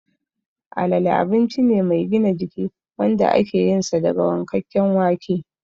Alale abinci ne mai gina jiki wanda ake yinsa daga wankakken wake